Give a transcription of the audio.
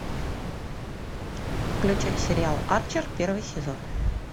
включай сериал арчер первый сезон